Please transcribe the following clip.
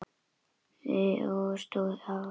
Og hann hélt áfram.